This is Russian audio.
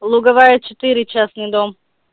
луговая четыре частный дом